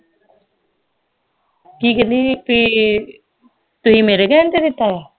ਕਿ ਕਹਿੰਦੀ ਬਈ ਤੁਸੀਂ ਮੇਰੇ ਕਹਿਣ ਤੇ ਦਿੱਤਾ ਵਾ